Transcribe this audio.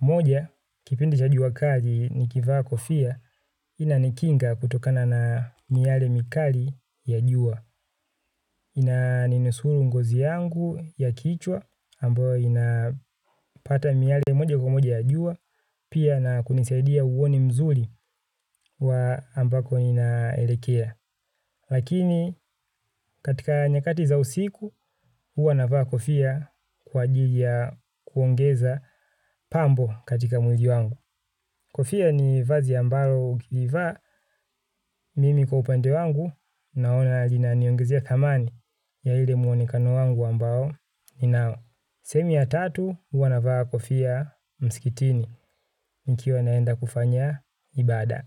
Moja, kipindi cha jua kali nikivaa kofia inanikinga kutokana na miyale mikali ya jua. Inaninusuru ngozi yangu ya kichwa, ambayo inapata miyale moja kwa moja ya jua, pia na kunisaidia uoni mzuri wa ambako inaelekea. Lakini katika nyakati za usiku, huwa na vaa kofia kwa ajili ya kuongeza pambo katika mwili wangu. Kofia ni vazi ambaro ukiivaa mimi kwa upande wangu naona linaniongezea thamani ya ile muonekano wangu ambao ni nao. Sehemu ya tatu huwa na vaa kofia mskitini nikiwa naenda kufanya ibada.